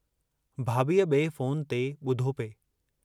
भाभीअ बिए फोन ते बुधो पिए।